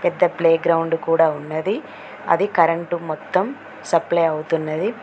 The playground కూడా ఉన్నది అది కరెంటు మొత్తం సప్లై అవుతున్నది.